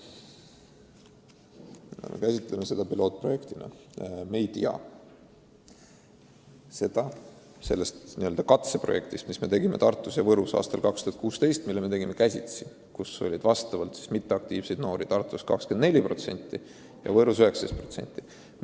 Tänu juba enne mainitud katseprojektile, mille me viisime käsitsi läbi Tartus ja Võrus aastal 2016, me saime teada, et mitteaktiivseid noori oli Tartus 24% ja Võrus 19%.